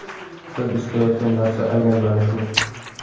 Biz istayotgan narsa aynan mana shu.